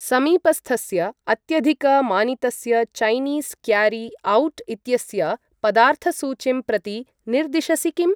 समीपस्थस्य अत्यधिकमानितस्य Chinese carry out इत्यस्य पदार्थसूचीं प्रति निर्दिशसि किम्?